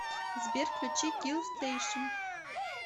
сбер включи килстэйшн